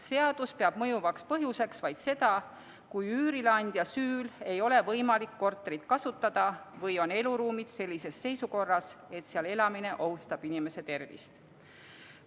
Seadus peab mõjuvaks põhjuseks vaid seda, kui üürileandja süül ei ole võimalik korterit kasutada või on eluruumid sellises seisukorras, et seal elamine ohustab inimese tervist.